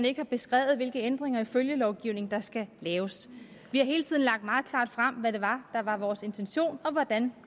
ikke er beskrevet hvilke ændringer i følgelovgivningen der skal laves vi har hele tiden lagt meget klart frem hvad det var der var vores intention og hvordan